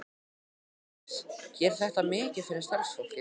Jóhannes: Gerir þetta mikið fyrir starfsfólkið?